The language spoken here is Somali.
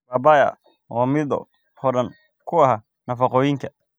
Papaya waa midho hodan ku ah nafaqooyinka.